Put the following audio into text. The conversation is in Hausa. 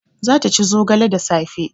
Za ta ci zogale da safe